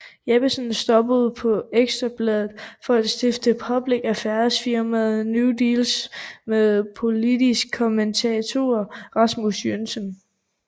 Jeppesen stoppede på Ekstra Bladet for at stifte public affairs firmaet New Deals med politisk kommentator Rasmus Jønsson